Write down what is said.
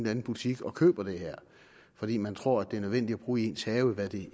anden butik og køber det her fordi man tror at det er nødvendigt at bruge i ens have hvad det